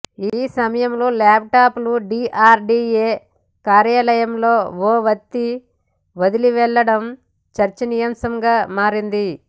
ఈ సమయంలో ల్యాప్టాప్ లు డీఆర్డీఏ కార్యాలయంలో ఓ వ్యక్తి వదిలి వెళ్లడం చర్చనీయాంశంగా మారింది